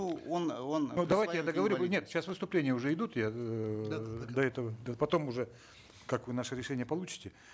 ну он он давайте я договорю вы нет сейчас выступления уже идут я эээ до этого потом уже как вы наше решение получите